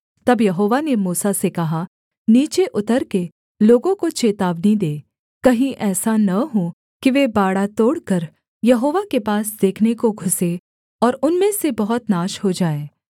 तब यहोवा ने मूसा से कहा नीचे उतरकर लोगों को चेतावनी दे कहीं ऐसा न हो कि वे बाड़ा तोड़कर यहोवा के पास देखने को घुसें और उनमें से बहुत नाश हो जाएँ